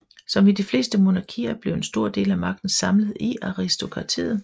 Som i de fleste monarkier blev en stor del af magten samlet i aristokratiet